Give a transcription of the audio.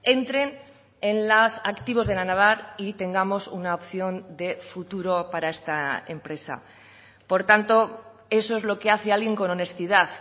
entren en los activos de la naval y tengamos una opción de futuro para esta empresa por tanto eso es lo que hace alguien con honestidad